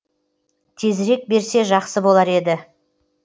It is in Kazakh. тезірек берсе жақсы болар еді